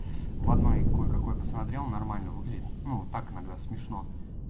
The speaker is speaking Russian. в одной кое-какое посмотрел нормально выглядит ну так иногда смешно